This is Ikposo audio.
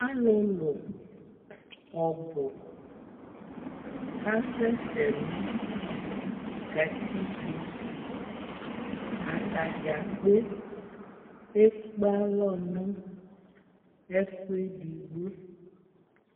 Alʋlʋ ɔbʋ kasɛsɛ nʋ katikpo Ata dza kpe ekpe alɔ nʋ ɛfʋ edigbo